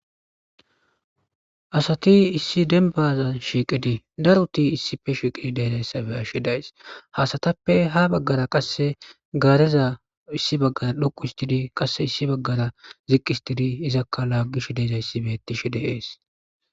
asati issi denbaza shiiqidi daruti issife shiiqidi deedayssabe ashshi days hasatappe ha baggara qasse gaareza issi baggara dhuqu histidi qasse issi baggara ziqqistidi izakka laagish deezayssi bettishe deees